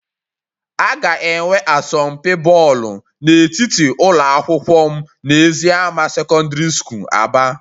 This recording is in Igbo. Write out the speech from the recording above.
A ga-enwe asọmpi bọọlụ n'etiti ụlọ akwụkwọ m na eziama secondary school Aba